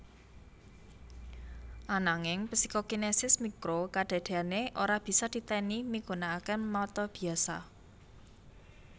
Ananging Psikokinesis mikro kadadeané ora bisa titeni migunakaké mata biasa